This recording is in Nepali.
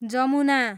जमुना